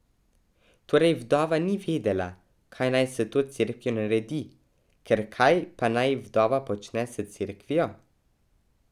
Torej vdova ni vedela, kaj naj s to cerkvijo naredi, ker kaj pa naj vdova počne s cerkvijo?